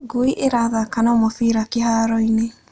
Ngui ĩrathaaka na mũbira kĩhaaro-inĩ.